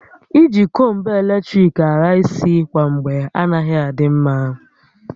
I ji kombu eletrik ahà isi kwa mgbe anaghị adị mma